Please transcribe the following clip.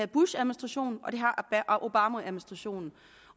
bushadministrationen og det har obamaadministrationen